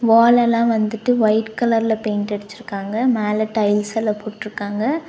வால் எல்லா வந்துட்டு ஒய்ட் கலர்ல பெயிண்ட் அடுச்சிருக்காங்க மேல டைல்ஸ் எல்லா போட்ருக்காங்க.